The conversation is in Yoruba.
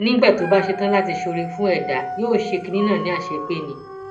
nígbà tó bá ṣe tán láti ṣe oore fún ẹdá yóò ṣe kinní náà ní àṣepé ni